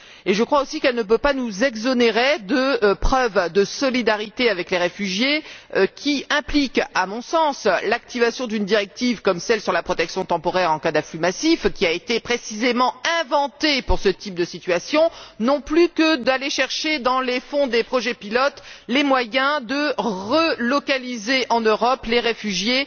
Je crois aussi qu'elle ne peut pas nous dispenser d'apporter des preuves de notre solidarité avec les réfugiés, ce qui implique, à mon sens, l'activation d'une directive comme celle sur la protection temporaire, en cas d'afflux massif, qui a précisément été inventée pour ce type de situation, pas plus que d'aller chercher dans les fonds des projets pilotes les moyens de relocaliser en Europe les réfugiés,